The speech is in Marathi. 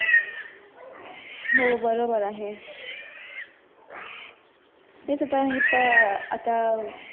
हो बरोबर आहे